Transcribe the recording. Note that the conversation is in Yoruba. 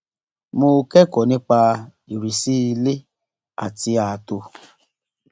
mo kẹkọọ nípa ìrísí ilé àti ààtò